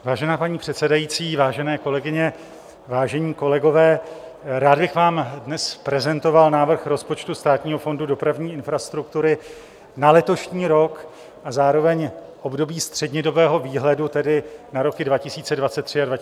Vážená paní předsedající, vážené kolegyně, vážení kolegové, rád bych vám dnes prezentoval návrh rozpočtu Státního fondu dopravní infrastruktury na letošní rok a zároveň období střednědobého výhledu, tedy na roky 2023 a 2024, tak jak jej schválila vláda.